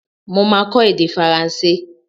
Mo máa kọ èdè Faransé.